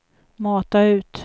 mata ut